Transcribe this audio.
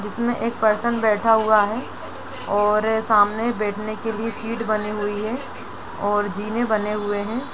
जिसमें एक पर्सन बैठा हुआ है और सामने बैठने के लिए सीट बनी हुई है और जिने बने हुए हैं|